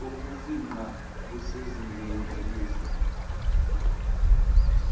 bokufingqa busezingeni elihle